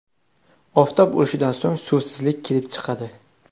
Oftob urishidan so‘ng suvsizlik kelib chiqadi.